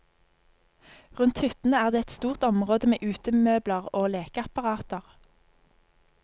Rundt hyttene er det et stort område med utemøbler og lekeapparater.